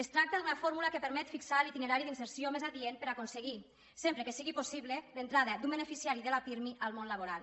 es tracta d’una fórmula que permet fixar l’itinerari d’inserció més adient per a aconseguir sempre que sigui possible l’entrada d’un beneficiari de la pirmi al món laboral